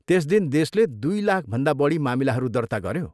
त्यस दिन देशले दुई लाखभन्दा बढी मामिलाहरू दर्ता गऱ्यो।